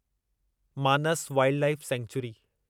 Manas wildlife sanctuary